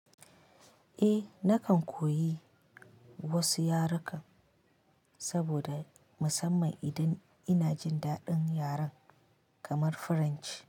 Eh nakan koyi wasu yarekan saboda musamman idan ina jin daɗin yaren kamar Faransanci.